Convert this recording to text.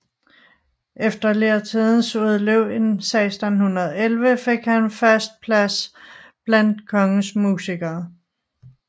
Efter læretidens udløb i 1611 fik han fast plads blandt kongens musikere